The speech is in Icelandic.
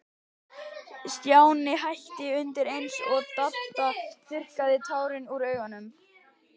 Stjáni hætti undir eins, og Dadda þurrkaði tárin úr augunum.